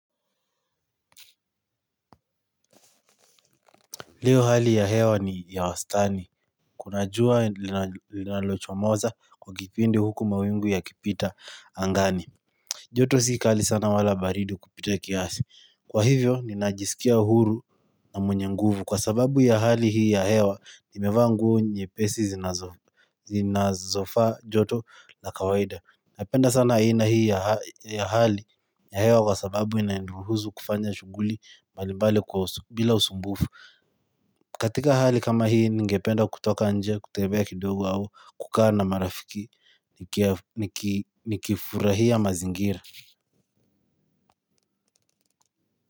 Leo hali ya hewa ni ya wastani. Kuna jua linalochomoza kwa kipindi huku mawingu yakipita angani. Joto sikali sana wala baridi kupita kiasi. Kwa hivyo, ninajisikia uhuru na mwenye nguvu. Kwa sababu ya hali hii ya hewa, nimevaa nguo nyepesi zinazofaa joto na kawaida. Napenda sana hii na hii ya hali ya hewa kwa sababu inaniruhusu kufanya shughuli mbalimbali kwa bila usumbufu. Katika hali kama hii, ningependa kutoka nje kutembea kidogo au kukaa na marafiki nikifurahia mazingira.